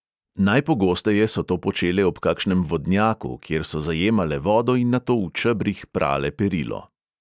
Najpogosteje so to počele ob kakšnem vodnjaku, kjer so zajemale vodo in nato v čebrih prale perilo.